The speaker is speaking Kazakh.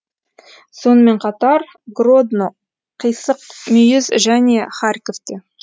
сонымен қатар гродно қисық мүйіз және харьковте